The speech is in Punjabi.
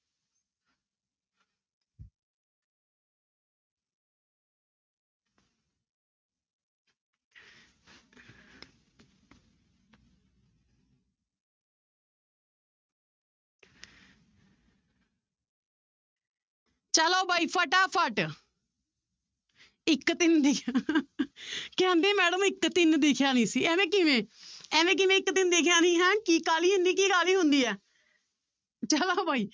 ਚਲੋ ਬਾਈ ਫਟਾਫਟ ਇੱਕ ਤਿੰਨ ਦਿ~ ਕਹਿੰਦੇ madam ਇੱਕ ਤਿੰਨ ਦਿਖਿਆ ਨੀ ਸੀ ਇਵੇਂ ਕਿਵੇਂ ਇਵੇਂ ਕਿਵੇਂ ਇੱਕ ਤਿੰਨ ਦਿਖਿਆ ਨੀ ਹੈ ਕੀ ਕਾਹਲੀ ਹੁੰਦੀ ਕੀ ਕਾਹਲੀ ਹੁੰਦੀ ਹੈ ਚਲੋ ਬਈ